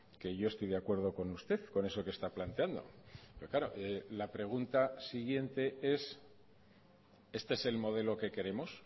que yo estoy de acuerdo con usted con eso que está planteando pero claro la pregunta siguiente es este es el modelo que queremos